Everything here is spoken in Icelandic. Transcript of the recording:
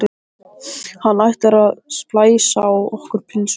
Hann ætlar að splæsa á okkur pulsu!